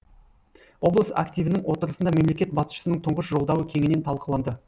облыс активінің отырысында мемлекет басшысының тұңғыш жолдауы кеңінен талқыланды